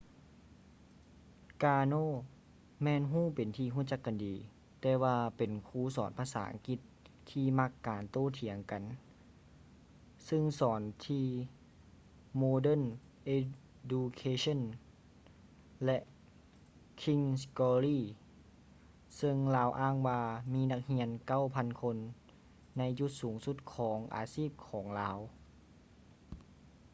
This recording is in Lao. ກາໂນ karno ແມ່ນຮູ້ເປັນທີ່ຮູ້ຈັກກັນດີ ແຕ່ວ່າເປັນຄູສອນພາສາອັງກິດທີ່ມັກການໂຕ້ຖຽງກັນ ຊຶ່ງສອນທີ່ ໂມເດີນ ເອດູເຄເຊີ່ນ modern education ແລະ ຄິງສ໌ ກຼໍລີ່ king's glory ຊຶ່ງລາວອ້າງວ່າມີນັກຮຽນ 9,000 ຄົນໃນຈຸດສູງສຸດຂອງອາຊີບຂອງລາວ